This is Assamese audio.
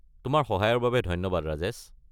তোমাৰ সহায়ৰ বাবে ধন্যবাদ, ৰাজেশ।